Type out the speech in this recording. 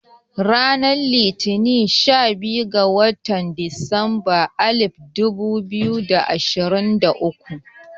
Ranar Litini sha biyar ga watan disamba alif dubu biyu da ashirin da uku